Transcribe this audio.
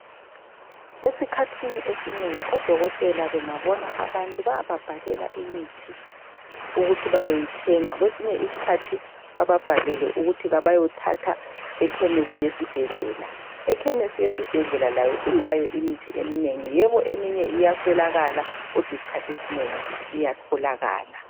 esikhathini esinengi odokotela bengabona abantu bayababhalela imithi ukuthi beyoyithenge kwesinye isikhathi bebabhalele ukuthi beyothatha ekhemesi yesibhedlela ikhemesi yesibhedlela layo ilayo imithi emineni yebo iyaswelakala kodwa isikhathiesinengi iyatholakala